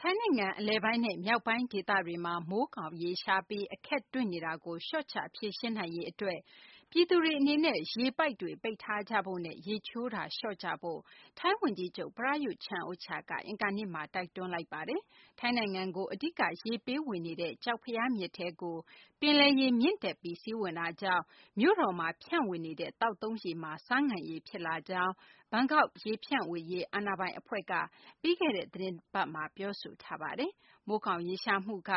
ထိုင်းနိုင်ငံ အလယ်ပိုင်းနဲ့ မြောက်ပိုင်း ဒေသတွေမှာ မိုးခေါင်ရေရှားပြီး အခက်တွေ့နေတာကို လျှော့ချ ဖြေရှင်းနိုင်ရေး အတွက် ပြည်သူတွေ အနေနဲ့ ရေပိုက်တွေ ပိတ်ထားကြဖို့နဲ့ ရေချိုးတာ လျှော့ကြဖို့ ထိုင်းဝန်ကြီးချုပ် Prayuth Chan-ocha က အင်္ဂါနေ့မှာ တိုက်တွန်းလိုက်ပါတယ်။ ထိုင်းနိုင်ငံကို အဓိက ရေပေးဝေနေတဲ့ ကျောက်ဖရားမြစ်ထဲကို ပင်လယ်ရေ မြင့်တက်ပြီး စီးဝင်တာကြောင့် မြို့တော်မှာ ဖြန့်ဝေနေတဲ့ သောက်သုံး ရေက ဆားငန်ရေ ဖြစ်လာကြောင်း ဘန်ကောက် ရေဖြန့်ဝေရေး အာဏာပိုင်အဖွဲ့က ပြီးခဲ့တဲ့ သီတင်းပတ်မှာ ပြောဆိုထားပါတယ်။ မိုးခေါင် ရေရှားမှုက